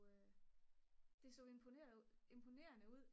det så imponerende ud